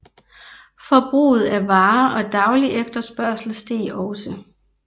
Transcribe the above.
Forbruget af varer og daglig efterspørgsel steg også